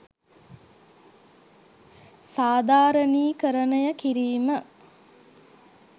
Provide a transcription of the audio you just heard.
සාධාරණීකරණය කිරීම.